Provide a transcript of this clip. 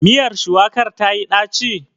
Miyar shuwakar tayi ɗaci?